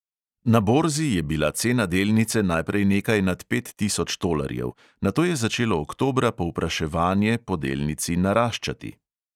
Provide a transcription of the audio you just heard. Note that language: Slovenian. Na borzi je bila cena delnice najprej nekaj nad pet tisoč tolarjev, nato je začelo oktobra povpraševanje po delnici naraščati.